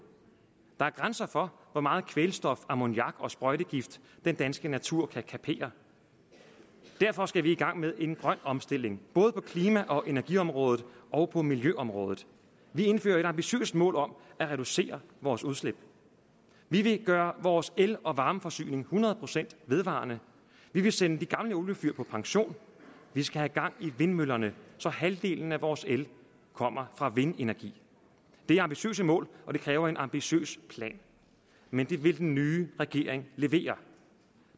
der er grænser for hvor meget kvælstof ammoniak og sprøjtegift den danske natur kan kapere derfor skal vi i gang med en grøn omstilling både på klima og energiområdet og på miljøområdet vi indfører et ambitiøst mål om at reducere vores udslip vi vil gøre vores el og varmeforsyning hundrede procent vedvarende vi vil sende de gamle oliefyr på pension vi skal have gang i vindmøllerne så halvdelen af vores el kommer fra vindenergi det er ambitiøse mål og det kræver en ambitiøs plan men det vil den nye regering levere